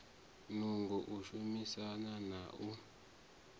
nungo u shumesa na u